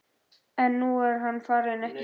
En nú er hann farinn, ekki satt?